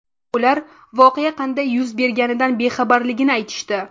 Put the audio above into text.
Ular voqea qanday yuz berganidan bexabarligini aytishdi.